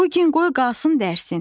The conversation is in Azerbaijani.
Bu gün qoy qalsın dərsin.